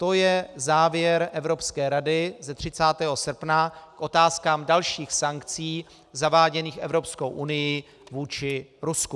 To je závěr Evropské rady z 30. srpna k otázkám dalších sankcí zaváděných Evropskou unií vůči Rusku.